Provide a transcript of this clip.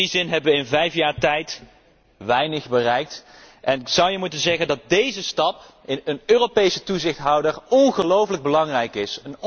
In die zin hebben wij in vijf jaar tijd weinig bereikt en zou je moeten zeggen dat deze stap, een Europese toezichthouder, ongelooflijk belangrijk is.